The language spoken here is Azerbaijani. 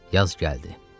Yaz gəldi.